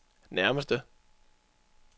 nærmeste